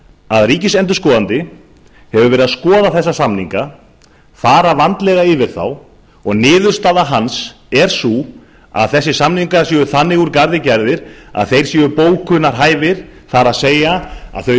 að ríkisendurskoðandi hefur verið að skoða þessa samninga fara vandlega yfir þá og niðurstaða hans er sú að þessir samningar séu þannig úr garði gerðir að þeir séu bókunarhæfir það er að þau